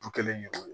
Du kelen